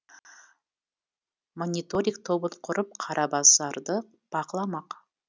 мониториг тобын құрып қара базарды бақыламақ